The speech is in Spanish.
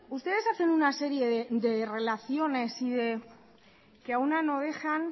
ustedes hacen una serie de relaciones que a una no dejan